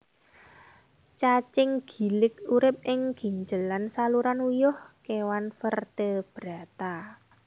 Cacing gilik urip ing ginjel lan saluran uyuh kéwan vertebrata